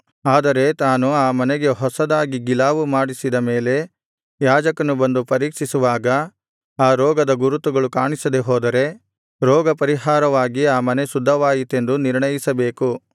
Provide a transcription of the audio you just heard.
ಆದರೆ ತಾನು ಆ ಮನೆಗೆ ಹೊಸದಾಗಿ ಗಿಲಾವು ಮಾಡಿಸಿದ ಮೇಲೆ ಯಾಜಕನು ಬಂದು ಪರೀಕ್ಷಿಸುವಾಗ ಆ ರೋಗದ ಗುರುತು ಕಾಣಿಸದೆಹೋದರೆ ರೋಗಪರಿಹಾರವಾಗಿ ಆ ಮನೆ ಶುದ್ಧವಾಯಿತೆಂದು ನಿರ್ಣಯಿಸಬೇಕು